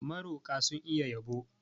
Maroƙa sun iya yabo.